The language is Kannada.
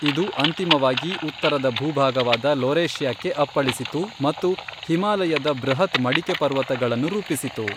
ಇದು ಅಂತಿಮವಾಗಿ ಉತ್ತರದ ಭೂಭಾಗವಾದ ಲೊರೇಷಿಯಾಕ್ಕೆ ಅಪ್ಪಳಿಸಿತು ಮತ್ತು ಹಿಮಾಲಯದ ಬೃಹತ್ ಮಡಿಕೆ ಪರ್ವತಗಳನ್ನು ರೂಪಿಸಿತು.